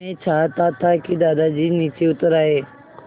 मैं चाहता था कि दादाजी नीचे उतर आएँ